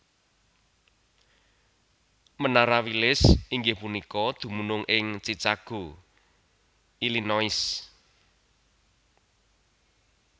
Menara Willis inggih punika dumunung ing Chicago Illinois